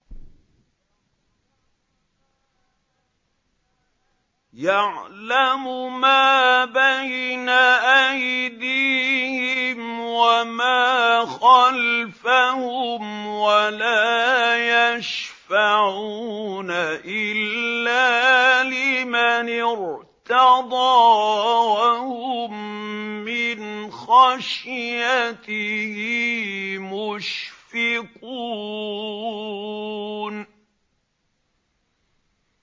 يَعْلَمُ مَا بَيْنَ أَيْدِيهِمْ وَمَا خَلْفَهُمْ وَلَا يَشْفَعُونَ إِلَّا لِمَنِ ارْتَضَىٰ وَهُم مِّنْ خَشْيَتِهِ مُشْفِقُونَ